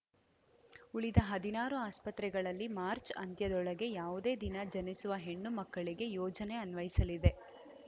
ಉಳಿದ ಹದಿನಾರು ಆಸ್ಪತ್ರೆಗಳಲ್ಲಿ ಮಾರ್ಚ್ ಅಂತ್ಯದೊಳಗೆ ಯಾವುದೇ ದಿನ ಜನಿಸುವ ಹೆಣ್ಣು ಮಕ್ಕಳಿಗೆ ಯೋಜನೆ ಅನ್ವಯಿಸಲಿದೆ